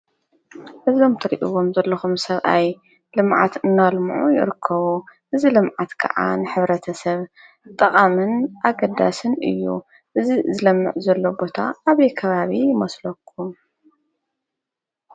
እዞ እትሪእዎም ዘለኹም ሰብኣይ ልምዓት እና ልምዑ ይርከቡ ።እዚ ልምዓት ከዓ ንሕብረተሰብ ጠቃምን ኣገዳስን እዩ። እዚ ዝለምዕ ዘሎ ቦታ ኣበይ ከባቢ ይመስለኩም?